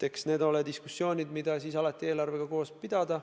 Eks need ole diskussioonid, mida alati saab eelarve arutamisega koos pidada.